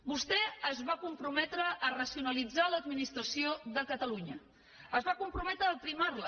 vostè es va comprometre a racionalitzar l’administració de catalunya es va comprometre a aprimar la